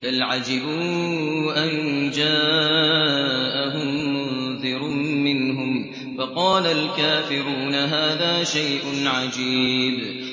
بَلْ عَجِبُوا أَن جَاءَهُم مُّنذِرٌ مِّنْهُمْ فَقَالَ الْكَافِرُونَ هَٰذَا شَيْءٌ عَجِيبٌ